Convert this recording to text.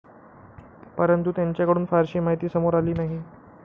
परंतु, त्यांच्याकडून फारशी माहिती समोर आली नाही.